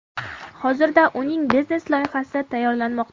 Hozirda uning biznes-loyihasi tayyorlanmoqda.